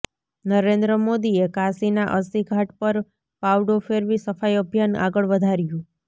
નરેન્દ્ર મોદીએ કાશીના અસ્સી ઘાટ પર પાવડો ફેરવી સફાઇ અભિયાન આગળ વધાર્યું